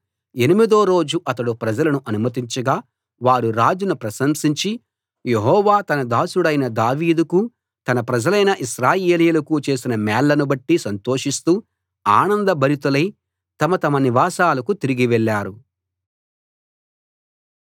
ఎనిమిదో రోజు అతడు ప్రజలను అనుమతించగా వారు రాజును ప్రశంసించి యెహోవా తన దాసుడైన దావీదుకూ తన ప్రజలైన ఇశ్రాయేలీయులకూ చేసిన మేళ్లను బట్టి సంతోషిస్తూ ఆనంద భరితులై తమ తమ నివాసాలకు తిరిగి వెళ్ళారు